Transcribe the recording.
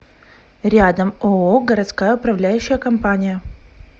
рядом ооо городская управляющая компания